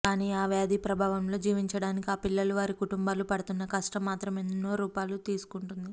కానీ ఆ వ్యాధి ప్రభావంలో జీవించటానికి ఆ పిల్లలు వారి కుటుంబాలు పడుతున్న కష్టం మాత్రం ఎన్నో రూపాలు తీసుకొంటోంది